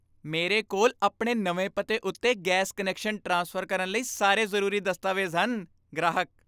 ਮੇਰੇ ਕੋਲ ਆਪਣੇ ਨਵੇਂ ਪਤੇ ਉੱਤੇ ਗੈਸ ਕੁਨੈਕਸ਼ਨ ਟ੍ਰਾਂਸਫਰ ਕਰਨ ਲਈ ਸਾਰੇ ਜ਼ਰੂਰੀ ਦਸਤਾਵੇਜ਼ ਹਨ ਗ੍ਰਾਹਕ